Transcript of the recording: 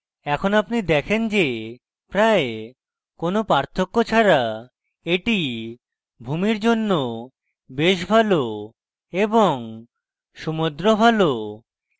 এখন আপনি দেখেন যে প্রায় কোনো পার্থক্য ছাড়া এটি ভূমির জন্য বেশ ভালো এবং সমুদ্র ভালো